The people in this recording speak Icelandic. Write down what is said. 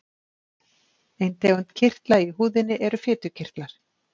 Ein tegund kirtla í húðinni eru fitukirtlar.